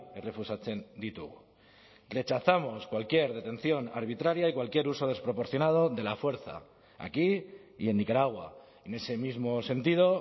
errefusatzen ditugu rechazamos cualquier detención arbitraria y cualquier uso desproporcionado de la fuerza aquí y en nicaragua en ese mismo sentido